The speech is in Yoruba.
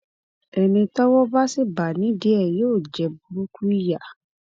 ẹni tọwọ bá sì bá nídìí ẹ yóò jẹ burúkú ìyà